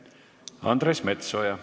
Andres Metsoja.